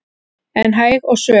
en hæg og svöl